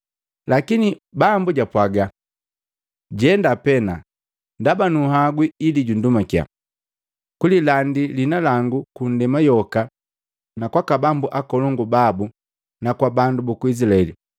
Lakini Bambu japwaga, “Jenda pena, ndaba nunhagwi ili jundumakiya, kulilandi liina langu ku ndema yoka na kwaka bambu akolongu babu na kwa bandu buku Izilaeli.